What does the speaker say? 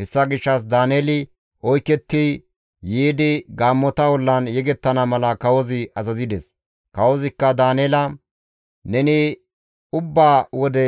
Hessa gishshas Daaneeli oyketti yiidi gaammota ollan yegettana mala kawozi azazides. Kawozikka Daaneela, «Neni ubba wode